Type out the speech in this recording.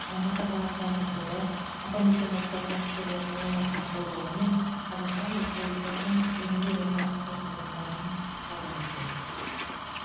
алматы қаласы әкімдігі атамекен ұлттық кәсіпкерлер палатасының қолдауымен қазақстан республикасының жеңіл өнеркәсіп кәсіпорындарының форумы өтеді